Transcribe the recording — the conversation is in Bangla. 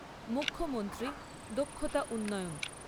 মুখ্যমন্ত্রী দক্ষতা উন্নয়ন